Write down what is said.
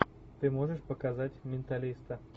ты можешь показать менталиста